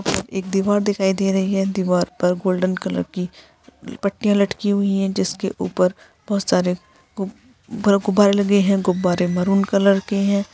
व एक दीवार दिखाई दे रही हैं। दीवार पर गोल्डन कलर की पट्टिया लटकी हुई हैं। जिसके उपर बहुत सारे गु-गुब्बारे लगे हैं। गुब्बारे मारून कलर के हैं।